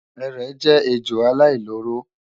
Erè jẹ́ ejò aláìlóró